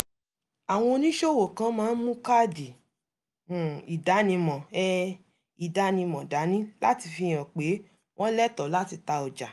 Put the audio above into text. àwọn oníṣòwò kan máa ń mú káàdì um ìdánimọ̀ um ìdánimọ̀ dání láti fi hàn pé wọ́n lẹ́tọ̀ọ́ láti ta ọjà